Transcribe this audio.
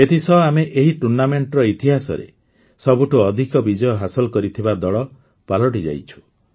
ଏଥିସହ ଆମେ ଏହି ଟୁର୍ଣ୍ଣାମେଣ୍ଟର ଇତିହାସରେ ସବୁଠୁ ଅଧିକ ବିଜୟ ହାସଲ କରିଥିବା ଦଳ ପାଲଟିଯାଇଛୁ